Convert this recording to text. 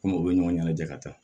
Komi u bɛ ɲɔgɔn ɲɛnajɛ ka taa